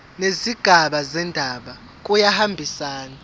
nezigaba zendaba kuyahambisana